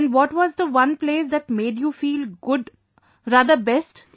And what was the one place that made you feel good rather best